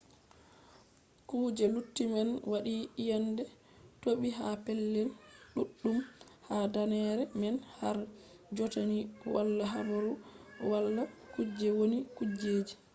kuje lutti man waɗi iyende toɓi ha pellel ɗuɗɗum ha danneere man har jotta ni wala habaru hala kuje wonni kujeji